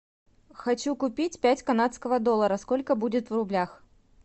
хочу купить пять канадского доллара сколько будет в рублях